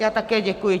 Já také děkuji.